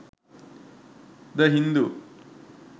the hindu